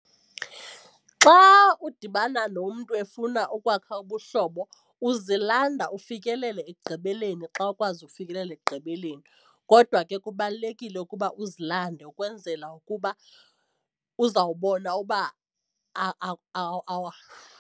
Xa udibana nomntu efuna ukwakha ubuhlobo uzilanda ufikelele ekugqibeleni xa ukwazi ukufikelela ekugqibeleni kodwa ke kubalulekile ukuba uzilande ukwenzela ukuba uzawubona uba .